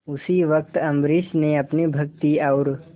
उसी वक्त अम्बरीश ने अपनी भक्ति और